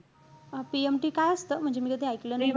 PMT काय असतं? म्हणजे मी कधी ऐकलं नाही आहे.